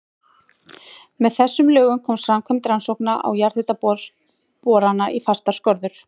Með þessum lögum komst framkvæmd rannsókna og jarðhitaborana í fastar skorður.